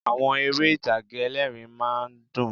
Àwọn eré ìtàgé ẹlẹ́ẹ̀rín rmá a ń dùn